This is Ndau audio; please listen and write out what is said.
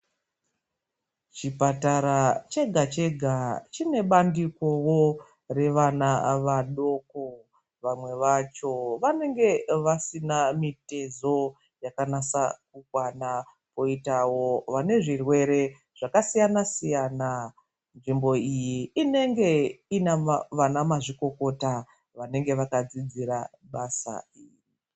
Chibhedhlera chega chega chine bandikowo revana vadoko. Vamwe vacho vanenge vasina mitezo yakanasa kukwana. Koitawo vane zvirwere zvakasiyana-siyana. Nzvimbo iyi inenge iina vanamazvikokota vanenge vakadzidzira basa iri.